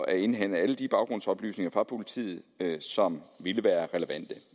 at indhente alle de baggrundsoplysninger fra politiet som ville være relevante